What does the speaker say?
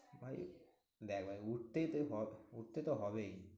ভাই দেখ ভাই উঠতেই তো উঠতে তো হবেই।